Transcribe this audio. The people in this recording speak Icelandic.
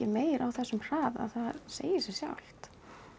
meira á þessum hraða það segir sig sjálft